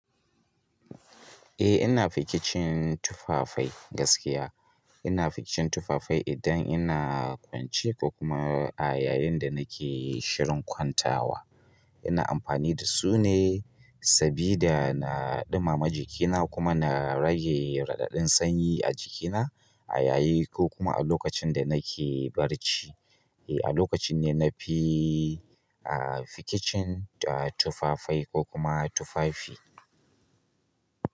Eh ina fikicin tufafai gaskiya ina fikicin tufafai idan ina kwance ko kuma a yayin da nake shirin kwantawa. Ina amfani da su ne sabida na ɗumama jikina kuma na rage raɗaɗin sanyi a jikina a yayi ko kuma a lokacin da nake barci. Eh a lokacin ne na fi fikicin tufafai ko kuma tufafi.